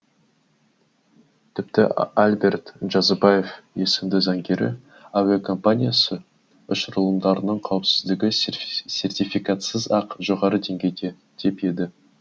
тіпті альберт джазыбаев есімді заңгері әуе компаниясы ұшырылымдарының қауіпсіздігі сертификатсыз ақ жоғары деңгейде деп еді